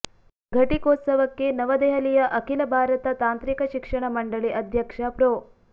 ಘಟಿಕೋತ್ಸವಕ್ಕೆ ನವದೆಹಲಿಯ ಅಖಿಲ ಭಾರತ ತಾಂತ್ರಿಕ ಶಿಕ್ಷಣ ಮಂಡಳಿ ಅಧ್ಯಕ್ಷ ಪ್ರೊ